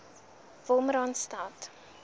wolmaranstad